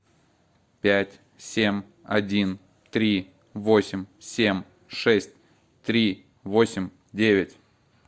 пять семь один три восемь семь шесть три восемь девять